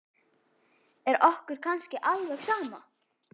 Er okkur kannski alveg sama?